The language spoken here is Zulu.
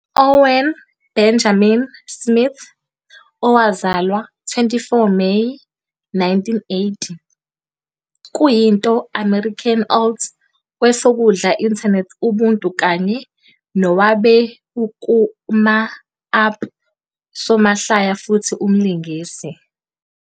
Owen Benjamin Smith, owazalwa 24 Meyi, 1980, kuyinto American alt kwesokudla internet ubuntu kanye nowabe ukuma-up nosomahlaya futhi umlingisi.